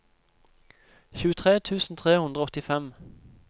tjuetre tusen tre hundre og åttifem